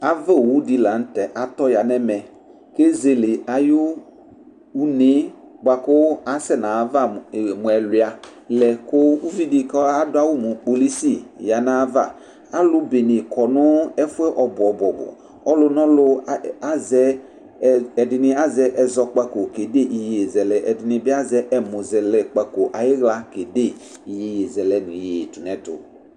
Ava owu ɖɩ la nʋ tɛ atɔ ƴa nʋ ɛmɛTe zele aƴʋ une ƴɛ bʋa ƙʋ asɛ nʋ aƴ'ava mʋ ɛlʋɩa lɛ ƙʋ uviɖɩ ƙʋ aɖʋ awʋ mʋ polisi ƴa nʋ aƴʋ avaAlʋ ƙɔ nʋ ɛfʋ ƴɛ ɔbʋ ɔbʋ, ɔlʋ nʋ ɔlʋ azɛ, ɛɖɩnɩ azɛ ɛzɔƙpaƙo nʋ iƴeyezɛlɛ, ɛɖɩnɩ ɛmʋƙpako nʋ iƴeƴezɛ ɖʋ nʋ ɛtʋ